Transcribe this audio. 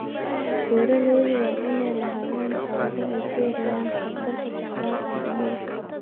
Beeralayda waa inay lahaadaan xeelado ay ku yareeyaan khatarta socdaalka shinnida.